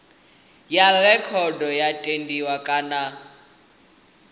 ya rekhodo yo tendiwa kana